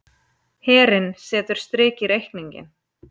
Herinn setur strik í reikninginn